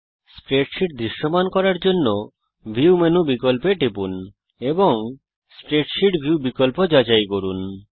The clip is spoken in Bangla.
স্প্রেডশীট দৃশ্যমান করার জন্য ভিউ মেনু বিকল্পতে যান এবং স্প্রেডশীট ভিউ বিকল্প যাচাই করুন